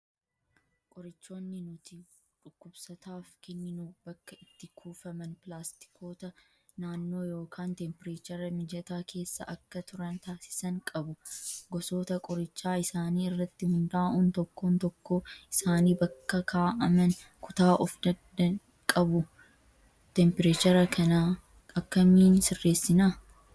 Qorichoonni nuti dhukkubsataaf kenninu bakka itti kuufaman pilaastikoota naannoo yookaan teempireechara mijataa keessa akka turan taasisan qabu. Gosoota qorichaa isaanii irratti hundaa'uun tokkoon tokkoo isaanii bakka kaa'aman kutaa of danda'e qabu. Teempireechara kanaa akkamiin sirreessinaa?